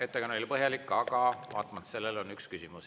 Ettekanne oli põhjalik, aga vaatamata sellele on üks küsimus.